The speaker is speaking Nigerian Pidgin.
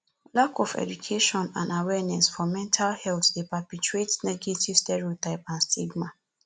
lack of education and awarneness for mental health dey perpetuate negative stereotype and stigam